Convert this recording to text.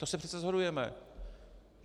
To se přece shodujeme.